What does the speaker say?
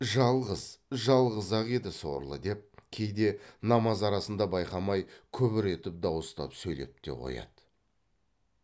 жалғыз жалғыз ақ еді сорлы деп кейде намаз арасында байқамай күбір етіп дауыстап сөйлеп те қояды